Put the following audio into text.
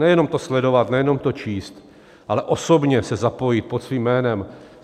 Nejenom to sledovat, nejenom to číst, ale osobně se zapojit pod svým jménem.